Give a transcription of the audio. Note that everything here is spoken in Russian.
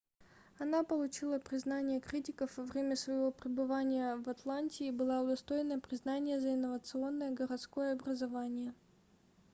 она получила признание критиков во время своего пребывания в атланте и была удостоена признания за инновационное городское образование